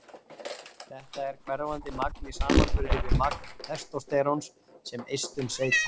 þetta er hverfandi magn í samanburði við magn testósteróns sem eistun seyta